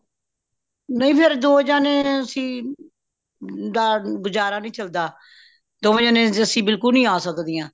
ਨਹੀਂ ਫੇਰ ਦੋ ਜਣੇ ਅੱਸੀ ਗੁਜਾਰਾ ਨਹੀਂ ਚਲਦਾ ਦੋਵੇਂ ਜਣੇ ਅੱਸੀ ਬਿਲਕੁਲ ਨਹੀਂ ਆ ਸਕਦੀਆਂ